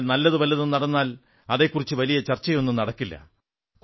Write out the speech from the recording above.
എന്നാൽ നല്ലതു വല്ലതും നടന്നാൽ അതെക്കുറിച്ച് വലിയ ചർച്ചയൊന്നും നടക്കില്ല